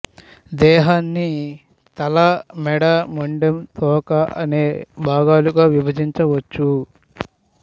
దేహన్ని తల మెడ మొండెం తోక అనే భాగాలుగా విభజించవచ్చు